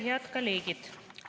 Head kolleegid!